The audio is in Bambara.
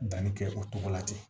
Danni kɛ o cogo la ten